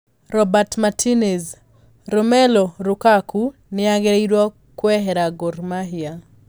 Roberto Martinez: Romelu Lukaku ni agirirwo kuehera Gor Mahia